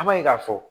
An b'a ye k'a fɔ